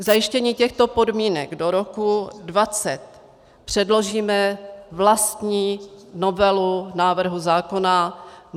K zajištění těchto podmínek do roku 2020 předložíme vlastní novelu návrhu zákona.